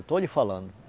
Estou lhe falando.